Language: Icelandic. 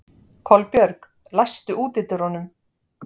Kolbjörg, læstu útidyrunum.